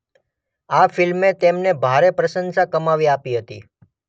આ ફિલ્મે તેમને ભારે પ્રશંસા કમાવી આપી હતી